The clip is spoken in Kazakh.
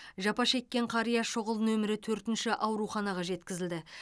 жапа шеккен қария шұғыл нөмірі төртінші ауруханаға жеткізілді